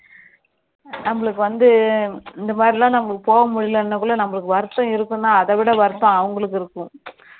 நம்மளுக்கு வந்து இந்த மாதிரிலாம் நம்ம போக முடியல என்றதுனால நமக்கு வருத்தம் இருக்கும் தான் அதை விட வருத்தம் அவங்களுக்கு இருக்கும்